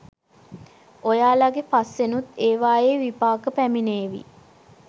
ඔයාලගෙ පස්සෙනුත් ඒවායේ විපාක පැමිණේවි.